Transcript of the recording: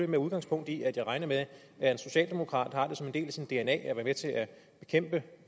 med udgangspunkt i at jeg regner med at en socialdemokrat har det som en del af sin dna